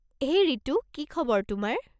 হেই ৰিতু, কি খবৰ তোমাৰ?